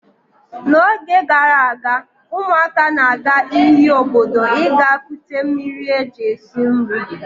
N'oge gara aga, ụmụaka na-aga iyi obodo ịga kute mmiri e ji esi nri.